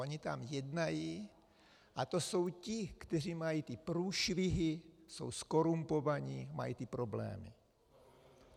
Oni tam jednají a to jsou ti, kteří mají ty průšvihy, jsou zkorumpovaní, mají ty problémy.